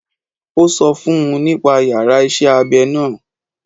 Ó sọ fún un nípa yàrá iṣẹ́ abẹ náà.